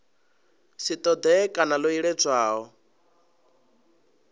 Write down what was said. si ṱoḓee kana ḽo iledzwaho